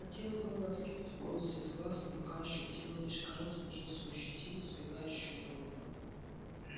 хотел было откинуть волосы с глаз но рука ощутила лишь короткую жёсткую щетину сбегающую на лоб